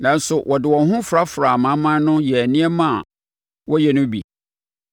nanso wɔde wɔn ho frafraa amanaman no yɛɛ nneɛma a wɔyɛ no bi.